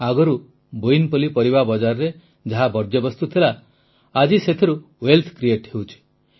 ଆଗରୁ ବୋୟିନପଲ୍ଲୀ ପରିବା ବଜାରରେ ଯାହା ବର୍ଜ୍ୟବସ୍ତୁ ଥିଲା ଆଜି ସେଥିରୁ ୱେଲ୍ଥ କ୍ରିଏଟ୍ ହେଉଛି